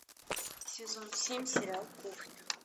сезон семь сериал кухня